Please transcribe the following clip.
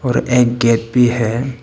और एक गेट भी है।